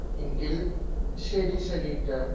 എങ്കിൽ ശെരി സനീറ്റാ